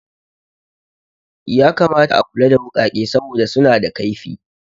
Ya kamata a kula da wuƙake saboda suna da kaifi